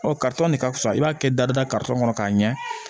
Ɔ ka fisa i b'a kɛ dada kɔnɔ k'a ɲɛ